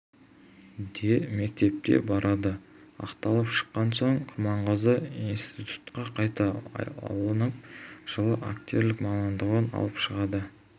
де мектепке барды ақталып шыққан соң құрманғазы институтқа қайта алынып жылы актерлік мамандығын алып шығады